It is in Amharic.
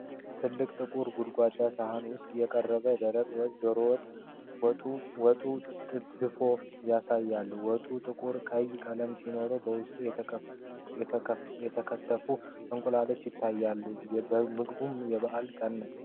ጥልቅና ጥቁር ጎድጓዳ ሳህን ውስጥ የቀረበ ደረቅ ወጥ (ዶሮ ወጥ/ድፎ) ያሳያል። ወጡ ጥቁር ቀይ ቀለም ሲሆን፣ በውስጡ የተከተፉ እንቁላሎች ይታያሉ። ምግቡ የበዓል ቀን ነው?